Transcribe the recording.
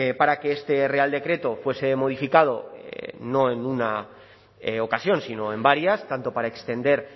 para que este real decreto fuese modificado no en una ocasión sino en varias tanto para extender